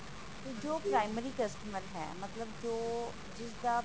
ਜੋ primary customer ਹੈ ਮਤਲਬ ਜੋ ਜਿਸਦਾ